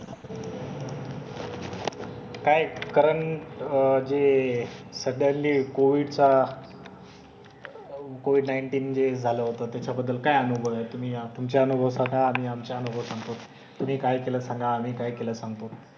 काय करंट जे सध्या जे कोविडचा कोविड नाईन्टिन जे झालं होतं त्याच्याबद्दल काय अनुभव आहे? तुम्ही तुमचे अनुभव सांगा. आम्ही आमचे अनुभव सांगतो. तुम्ही काय केलं सांगा. आम्ही काय केलं सांगतो.